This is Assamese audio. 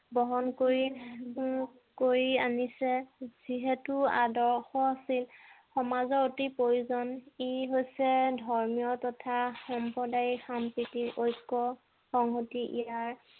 বহন কৰি কৰি আনিছে যিহেতু আদৰ্শ সমাজৰ অতি প্ৰয়োজন ই হৈছে ধৰ্মীয় তথা সম্প্ৰদায়িক সম্প্ৰীতিৰ ঐক্য সংহতি ইয়াৰ